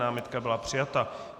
Námitka byla přijata.